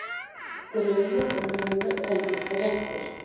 Grunur Lúnu reyndist réttur.